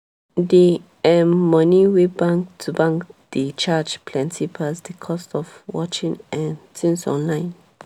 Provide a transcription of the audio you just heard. di um money wey bank to bank dey charge plenti pass di cost of watching um tins online.